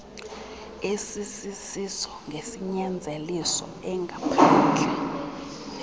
esisiso ngesinyanzeliso engaphandle